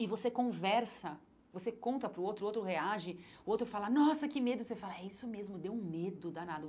E você conversa, você conta para o outro, o outro reage, o outro fala, nossa, que medo, você fala, é isso mesmo, deu medo danado.